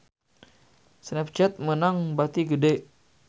Snapchat meunang bati gede